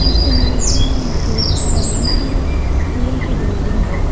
इस इमेज में मैं देख पा रही हूं कि स्कूल की बिल्डिंग है।